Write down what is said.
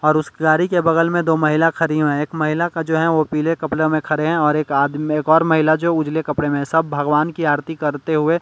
और उस गाड़ी के बगल में दो महिला खड़ी है एक महिला का जो है वो पीले कपड़े में खड़े हैं और एक आदमी एक और महिला जो उजले कपड़े में सब भगवान की आरती करते हुए --